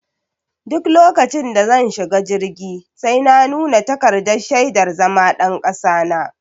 Duk lokacin da zan shiga jirgi sai na nuna takardar shaidar zama ɗan kasa na.